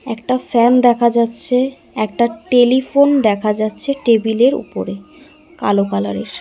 একটা ফ্যান দেখা যাচ্ছে একটা টেলিফোন দেখা যাচ্ছে কালো কালার -এর।